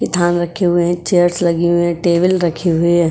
ये धान रखे हुए हैं। चेयर्स लगी हुई है टेबल रखी हुई है।